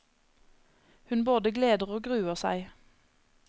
Hun både gleder og gruer seg.